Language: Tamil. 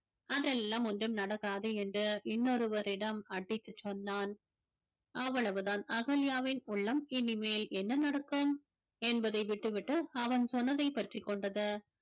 அதெல்லாம் ஒன்றும் நடக்காது என்று இன்னொருவரிடம் அடித்துச் சொன்னான் அவ்வளவுதான் அகல்யாவின் உள்ளம் இனிமேல் என்ன நடக்கும் என்பதை விட்டுவிட்டு அவன் சொன்னதை பற்றிக் கொண்டது